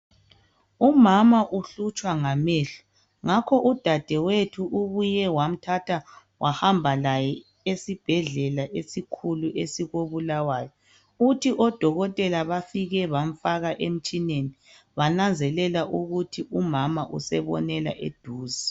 Umama uhlutshwa ngamehlo ngakho udadewethu ubuye wamthatha wahamba laye esibhedlela esikhulu esikoBulawayo kuthi odokotela bafike bamfaka emtshineni bananzelela ukuthi umama usebonela eduze.